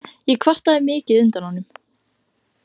Ég kvartaði mikið undan honum.